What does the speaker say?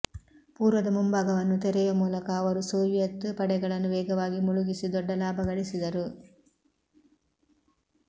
ಪೂರ್ವದ ಮುಂಭಾಗವನ್ನು ತೆರೆಯುವ ಮೂಲಕ ಅವರು ಸೋವಿಯೆತ್ ಪಡೆಗಳನ್ನು ವೇಗವಾಗಿ ಮುಳುಗಿಸಿ ದೊಡ್ಡ ಲಾಭ ಗಳಿಸಿದರು